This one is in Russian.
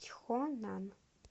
чхонан